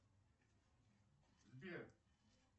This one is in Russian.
сбер